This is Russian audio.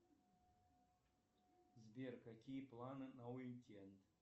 сбер какие планы на уикенд